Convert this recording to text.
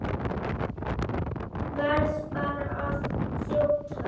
Verð bara að þjóta!